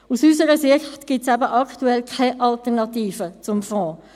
Aus unserer Sicht gibt es aktuell eben keine Alternativen zum Fonds.